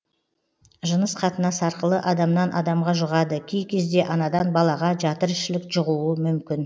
жыныс қатынас арқылы адамнан адамға жұғады кей кезде анадан балаға жатыр ішілік жұғуы мүмкін